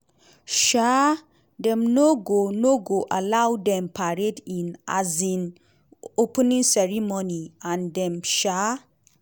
um dem no go no go allow dem parade in um opening ceremony and dem um